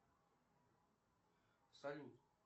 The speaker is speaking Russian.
салют